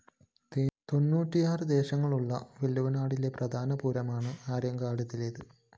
തെണ്ണൂറ്റിയാറ് ദേശങ്ങള്‍ ഉള്ള വള്ളുവനാട്ടിലെ പ്രധാന പൂരമാണ് ആര്യങ്കാലേത്